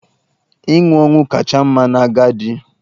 Ịnwụ ọnwụ kacha mma n'agadi.